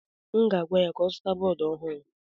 M ga-agwa ya ka ọ zụta bọọdụ ọhụrụ.